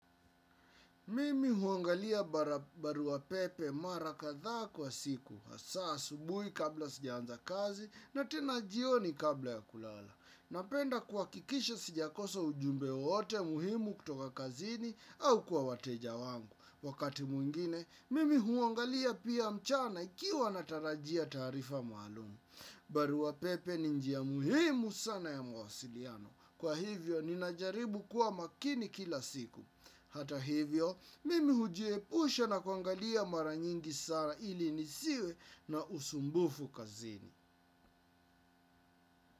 Mimi huangalia barua pepe mara kadhaa kwa siku. Hasa subuhi kabla sijaanza kazi na tena jioni kabla ya kulala. Napenda kuhakikisha sijakosa ujumbe wowote muhimu kutoka kazini au kwa wateja wangu. Wakati mwingine, mimi huangalia pia mchana ikiwa natarajia tarifa maalumu. Barua pepe ni njia muhimu sana ya mawasiliano. Kwa hivyo, ninajaribu kuwa makini kila siku. Hata hivyo, mimi hujiepusha na kuangalia mara nyingi sana ili nisiwe na usumbufu kazini.